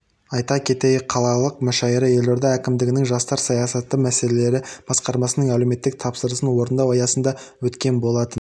айта кетейік қалалық мүшәйра елорда әкімдігінің жастар саясаты мәселелері басқармасының әлеуметтік тапсырысын орындау аясында өткен болатын